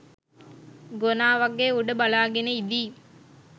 ගොනා වගෙ උඩ බලාගෙන ඉදී.